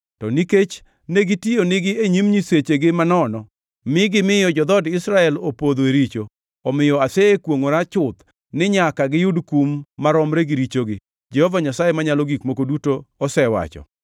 To nikech negitiyo nigi e nyim nyisechegi manono, mi gimiyo jo-dhood Israel opodho e richo, omiyo asekwongʼora chuth ni nyaka giyud kum maromre gi richogi, Jehova Nyasaye Manyalo Gik Moko Duto osewacho.